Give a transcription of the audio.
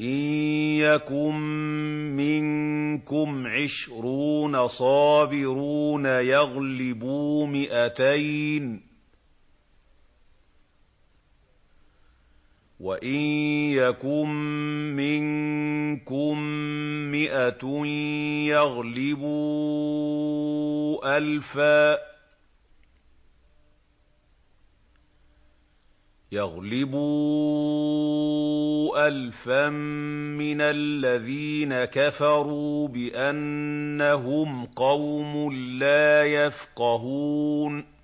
إِن يَكُن مِّنكُمْ عِشْرُونَ صَابِرُونَ يَغْلِبُوا مِائَتَيْنِ ۚ وَإِن يَكُن مِّنكُم مِّائَةٌ يَغْلِبُوا أَلْفًا مِّنَ الَّذِينَ كَفَرُوا بِأَنَّهُمْ قَوْمٌ لَّا يَفْقَهُونَ